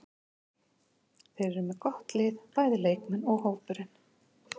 Þeir eru með gott lið, bæði leikmenn og hópurinn.